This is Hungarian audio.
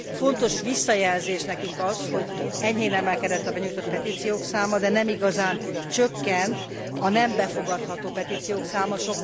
Fontos visszajelzés nekünk az, hogy enyhén emelkedett a benyújtott petíciók száma, de nem igazán csökkent a nem befogadható petíciók száma.